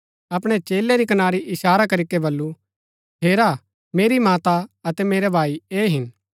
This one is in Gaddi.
अपणै चेलै री कनारी इशारा करीके बल्लू हेरा मेरी माता अतै मेरै भाई ऐह हिन